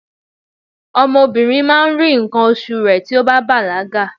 ọmọ obinrin ma ri nkan osu rẹ ti o ba balaga